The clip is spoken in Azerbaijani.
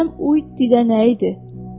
Məsələn, oy didə nə idi?